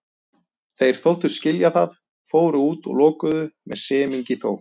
Þeir þóttust skilja það, fóru út og lokuðu, með semingi þó.